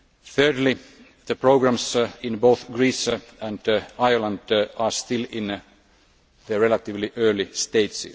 Thirdly, the programmes in both Greece and Ireland are still in the relatively early stages.